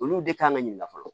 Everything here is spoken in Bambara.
Olu de kan ka ɲininka fɔlɔ